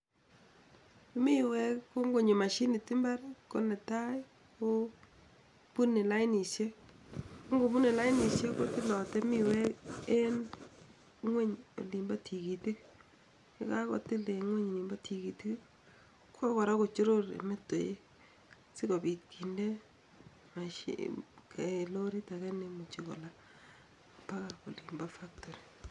Miwek ko'ngonyo mashinit imbar konetai kobune lainisiek, ngokobune lainisiek kotilatei miwek en ingweny olimbo tigitik, ye kakotil eng ingweny nebo tigitik, kokora kochoror olepo meteiwek sikopit kinde mashinit kondee lorit ake neimuch kolaa koba olemi factory.